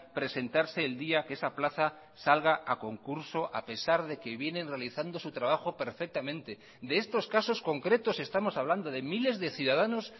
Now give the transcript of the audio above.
presentarse el día que esa plaza salga a concurso a pesar de que vienen realizando su trabajo perfectamente de estos casos concretos estamos hablando de miles de ciudadanos